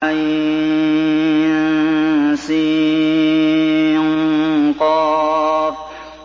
عسق